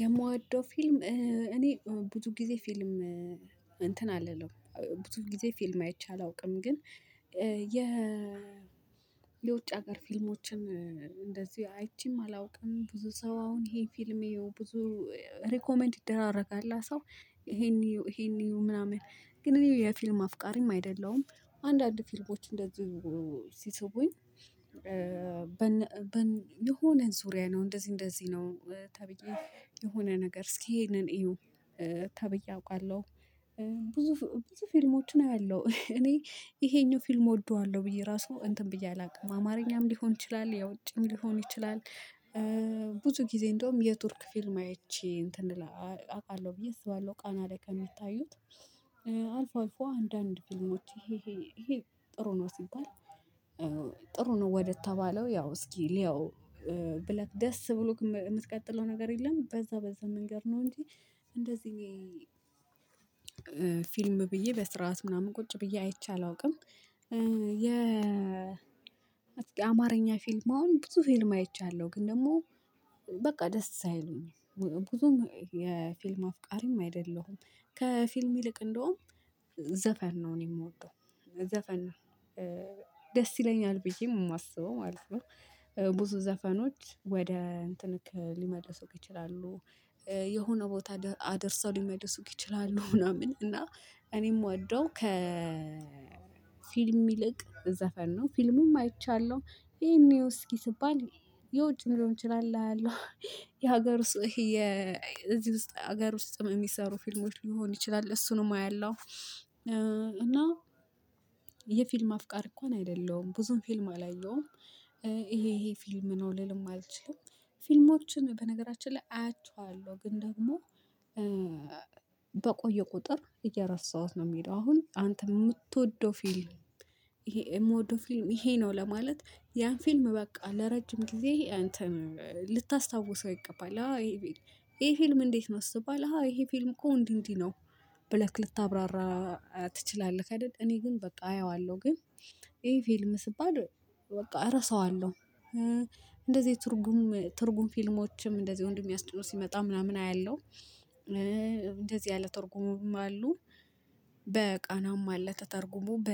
የምወደው ፊልም እኔ ብዙ ጊዜ ፊልም እንትን አልልም ብዙ ጊዜ ፊልም አይቼ አላውቅም። ግን የ የውጭ ሀገር ፊልሞችን እንደዚህ አይቼም አላውቅም። ብዙ ሰው አሁን ይሄን ፊልም እዪው ብዙ ሪኮመንድ ይደራረጋል ሰው ይሄን እዪው ይሄን እዪው ምናምን ግን እኔ የፊልም አፍቃሪም አይደለሁም። አንዳንድ ፊልሞች እንደዚህ ሲስቡኝ የሆነ ዙሪያ ነው እንደዚህ እንደዚህ ነው ተብዬ የሆነ ነገር እስኪ ይሄንን እዩው ተብዬ አውቃለሁ። ብዙ ብዙ ፊልሞችን አያለሁ እኔ ይሄኛው ፊልም እወደዋለሁ ብዬ ራሱ እንትን ብዬ አላውቅም አማርኛም ሊሆን ይችላል የውጪም ሊሆን ይችላል። ብዙ ጊዜ እንደውም የቱርክ ፊልም አይቼ እንትን አቃለው ብዬ አስባለሁ ቃና ላይ ከሚታዩት አልፎ አልፎ አንዳንድ ፊልሞች ይሄ ይሄ ይሄ ጥሩ ነው። ሲባል ጥሩ ነው ወደተባለው ያው እስኪ ልየው ብለህ ደስ ብሎክ ምትቀጥለው ነገር የለም። በዛ በዛ መንገድ ነው እንጂ እንደዚህ ፊልም ብዬ በስርዓት ምናምን ቁጭ ብዬ አይቼ አላውቅም። የ አማርኛ ፊልም አሁን ብዙ ፊልም አይቻለሁ ግን ደግሞ በቃ ደስ አይሉኝም። ብዙም የፊልም አፍቃሪም አይደለሁም ከፊልም ይልቅ እንደውም ዘፈን ነው እኔ የምወደው ዘፈን ነው። ደስ ይለኛል ብዬ የማስበው ማለት ነው። ብዙ ዘፈኖች ወደ እንትንክ ሊመልሱክ ይችላሉ የሆነ ቦታ አደርሰው ሊመልሱክ ይችላሉ ምናምን እና እኔም እምወደው ከ ፊልም ይልቅ ዘፈን ነው። ፊልሙም አይቻለሁ ይሄን እየው እስኪ ስባል የውጭ ሊሆን ይችላል አያለው የሀገር ውስጥ የዚህ ውስጥ ሀገር ውስጥ የሚሰሩ ፊልሞች ሊሆን ይችላል እሱንም አያለሁ። እና የፊልም አፍቃሪ እንኳን አይደለሁም ብዙም ፊልም አላየሁም። ይሄ ይሄ ፊልም ነው ልልም አልችልም። ፊልሞችን በነገራችን ላይ አያቸዋለሁ ግን ደግሞ በቆየ ቁጥር እየረሳሁት ነው። የሚሄደው አሁን አንተ የምትወደው ፊልም የምትወደው ፊልም ይሄ ነው። ለማለት ያን ፊልም በቃ ለረጅም ጊዜ እንትን ልታስታውሰው ይገባላ ይሄ ፊልም እንዴት ነው? ስትባል አሃ ይሄ ፊልም እኮ እንዲህ እንዲህ ነው ብለህ ልታብራራ ትችላለህክ አይደል እኔ ግን በቃ አየዋለሁ ግን ይሄ ፊልም ስባል በቃ እረሳዋለሁ። እንደዚህ ትርጉም ትርጉም ፊልሞችም እንደዚህ ወንድሜ አስጭኖ ሲመጣ ምናምን አያለሁ። እንደዚህ ያለ ተርጉሞም አሉ በቃናም አለ ተተርጉሞ በ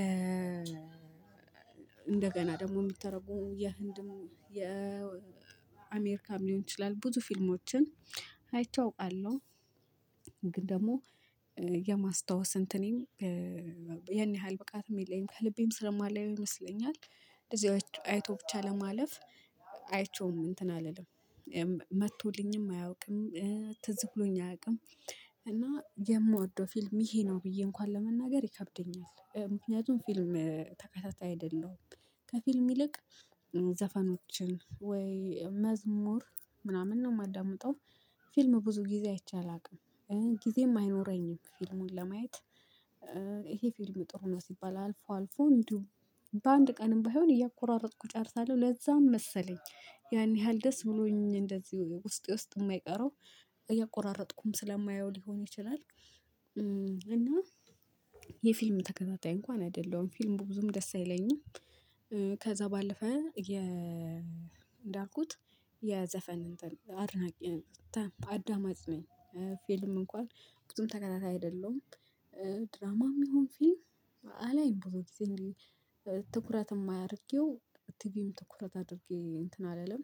እንደገና ደግሞ የሚተረጉ የህንድም የአሜሪካም ሊሆን ይችላል ብዙ ፊልሞችን አይቼ አውቃለሁ። ግን ደግሞ የማስታወስ እንትኔም ያን ያህል ብቃትም የለኝም ከልቤም ስለማላየው ይመስለኛል። አይቶ ብቻ ለማለፍ አይቼውም እንትን አልልም መጥቶልኝም አያውቅም ትዝ ብሎኝ አያውቅም። እና የምወደው ፊልም ይሄ ነው ብዬ እንኳን ለመናገር ይከብደኛል ምክንያቱም ፊልም ተከታታይ አይደለሁም። ከፊልም ይልቅ ዘፋኖችን ወይ መዝሙር ምናምን ነው የማዳምጠው። ፊልም ብዙ ጊዜ አይቼ አላውቅም። ጊዜም አይኖረኝም ፊልሙን ለማየት ይሄ ፊልም ጥሩ ነው ሲባል አልፎ አልፎ እንዲሁ በአንድ ቀን ባይሆን እያቆራረጥኩ ጨርሳለሁ ለዛም መሰለኝ። ያን ያህል ደስ ብሎኝ እንደዚህ ውስጤ ውስጥ የማይቀረው እያቆራረጥኩም ስለማየው ሊሆን ይችላል። እና የፊልም ተከታታይ እንኳን አይደለሁም ፊልም ብዙም ደስ አይለኝም። ከዛ ባለፈ የ እንዳልኩት የዘፈን አድናቂ አዳማጭ ነኝ ፊልም እንኳን ብዙም ተከታታይ አይደለሁም። ድራማም ይሁን ፊልም አላይም ብዙ ጊዜ እንግዲህ ትኩረት እማያርጌው ቲቪም ትኩረት አድርጌ እንትን አላለም።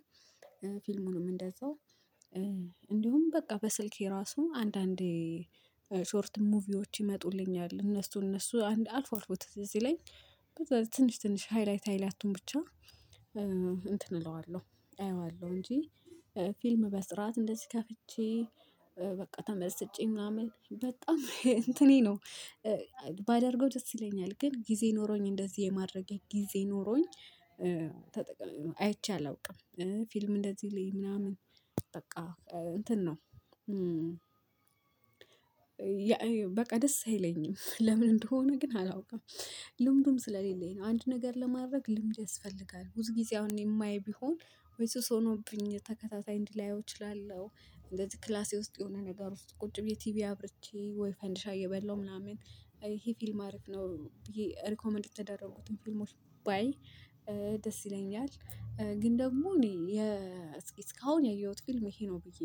ፊልሙንም እንደዛው እንዲሁም በቃ በስልኬ ራሱ አንዳንዴ ሾርት ሙቪዎች ይመጡልኛል እነሱ እነሱ አልፎ አልፎ ትዝ ሲለኝ ከዛ ትንሽ ትንሽ ሃይላይት ሃይላቱን ብቻ እንትን እለዋለሁ አየዋለሁ እንጂ ፊልም በስራት እንደዚህ ከፍቼ በቃ ተመስጬ ምናምን በጣም እንትኔ ነው ባደርገው ደስ ይለኛል። ግን ጊዜ ኖሮኝ እንደዚህ የማድረጌ ጊዜ ኖሮኝ ተጠቅ አይቼ አላውቅም ፊልም እንደዚህ ልይ ምናምን በቃ እንትን ነው በቃ ደስ አይለኝም። ለምን እንደሆነ ግን አላውቅም። ልምዱም ስለሌለኝ ነው አንድ ነገር ለማድረግ ልምድ ያስፈልጋል። ብዙ ጊዜ አሁን የማይ ቢሆን ወይ ሱስ ሆኖብኝ ተከታታይ እንዲህ ላየው እችላለሁ እንደዚህ ክላሴ ውስጥ የሆነ ነገር ውስጥ ቁጭ ብዬ ቲቪ አብርቼ ወይ ፈንድሻ እየበላሁ ምናምን ይሄ ፊልም አሪፍ ነው ብዬ ሪኮመንድ የተደረጉትን ፊልሞች ባይ ደስ ይለኛል። ግን ደግሞ እኔ እስካሁን ያየሁት ፊልም ይሄ ነው ብዬ